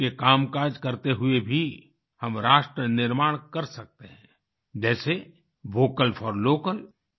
रोज के कामकाज करते हुए भी हम राष्ट्र निर्माण कर सकते हैं जैसे वोकल फोर Local